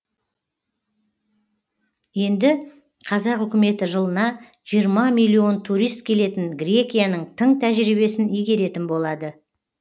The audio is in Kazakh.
енді қазақ үкіметі жылына жиырма миллион турист келетін грекияның тың тәжірибесін игеретін болады